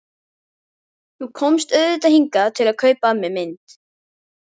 Þú komst auðvitað hingað til að kaupa af mér mynd.